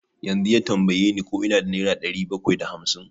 Yanzu ya tambaye ni ko ina da nera ɗari bakwai da hamsin.